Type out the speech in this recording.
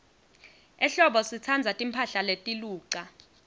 ehlobo sitsandza timphahla letiluca